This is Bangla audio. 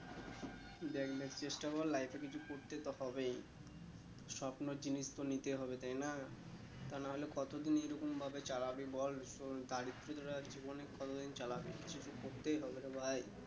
দেখ দেখ চেষ্টা কর life এ কিছু করতে তো হবেই স্বপ্নর জিনিস তো নিতে হবে তাই না আর না হলে কতদিন এই রকম ভাবে চালাবি বল জীবনে কতদিন চালাবি কিছু তো করতেই হবে রে ভাই